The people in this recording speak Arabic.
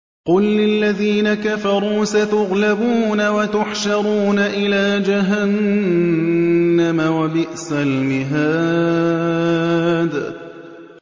قُل لِّلَّذِينَ كَفَرُوا سَتُغْلَبُونَ وَتُحْشَرُونَ إِلَىٰ جَهَنَّمَ ۚ وَبِئْسَ الْمِهَادُ